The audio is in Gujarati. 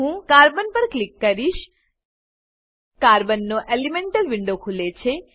હું કાર્બન પર ક્લિક કરીશ કાર્બન નો એલિમેન્ટલ વિન્ડો ખુલે છે